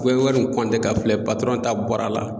I bɛ wari nin ka filɛ ta bɔra la